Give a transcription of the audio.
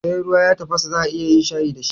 Sai ruwa ya tafasa za'a iya yin shayi dashi